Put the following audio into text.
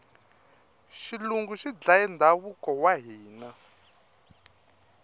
xilungu xi dlaye ndhavuko wa hina